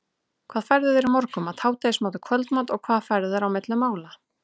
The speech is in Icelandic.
hvað færðu þér í morgunmat, hádegismat og kvöldmat og hvað færðu þér á milli mála?